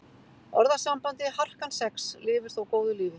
Orðasambandið harkan sex lifir þó góðu lífi.